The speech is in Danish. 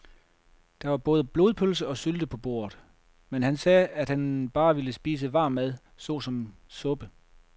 Der var både blodpølse og sylte på bordet, men han sagde, at han bare ville spise varm mad såsom suppe.